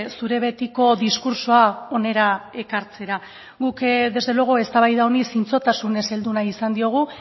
zure betiko diskurtsoa ona ekartzera guk desde luego eztabaida honi zintzotasunez heldu nahi izan diogu